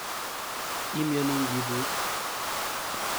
Imyoni ngibus